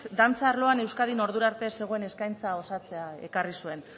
dantza arloan ordura arte ez zegoen eskaintza osatzea ekarri zuen